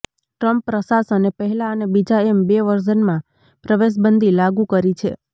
Trump પ્રશાસને પહેલા અને બીજા એમ બે વર્ઝનમાં પ્રવેશબંધી લાગુ કરી છે